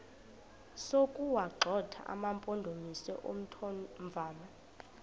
sokuwagxotha amampondomise omthonvama